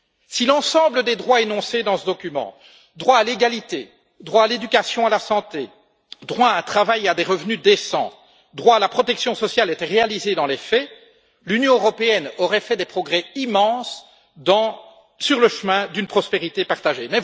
Si l'ensemble des droits énoncés dans ce document droit à l'égalité, droit à l'éducation et à la santé, droit à un travail et à des revenus décents, droit à la protection sociale était réalisé dans les faits, l'Union européenne aurait fait des progrès immenses sur le chemin d'une prospérité partagée.